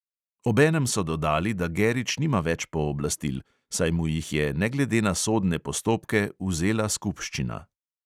Obenem so dodali, da gerič nima več pooblastil, saj mu jih je ne glede na sodne postopke vzela skupščina.